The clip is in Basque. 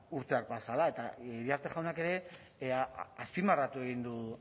urteak pasa ahala eta iriarte jaunak ere azpimarratu egin du